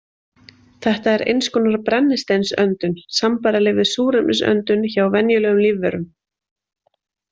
Þetta er eins konar brennisteinsöndun, sambærileg við súrefnisöndun hjá venjulegum lífverum.